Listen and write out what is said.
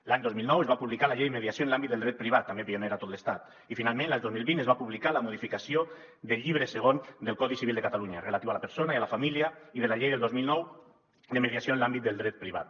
l’any dos mil nou es va publicar la llei de mediació en l’àmbit del dret privat també pionera a tot l’estat i finalment l’any dos mil vint es va publicar la modificació del llibre segon del codi civil de catalunya relatiu a la persona i a la família i de la llei del dos mil nou de mediació en l’àmbit del dret privat